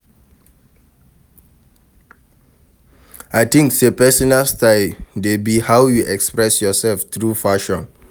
I dey think say pesinal style dey be how you express yourself through fashion.